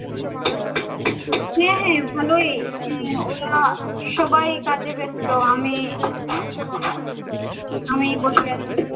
হ্যাঁ হ্যাঁ ভালোই। হ্যাঁ ওরা সবাই কাজে ব্যস্ত। আমি আমি বসে আছি।